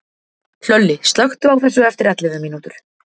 Hlölli, slökktu á þessu eftir ellefu mínútur.